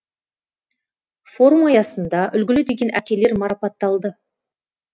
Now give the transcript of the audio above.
форум аясында үлгілі деген әкелер марапатталды